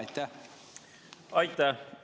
Aitäh!